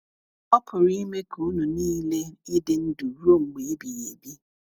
Ọ pụrụ ime ka ụnụ nile ịdị ndụ ruo mgbe ebighị ebi!